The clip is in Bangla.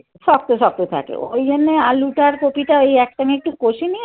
শক্ত শক্ত থাকে। ওই জন্য আলুটার কপিটা ওই এক সঙ্গে একটু কষে